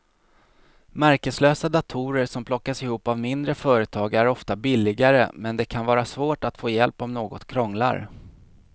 Märkeslösa datorer som plockas ihop av mindre företag är ofta billigare men det kan vara svårt att få hjälp om något krånglar.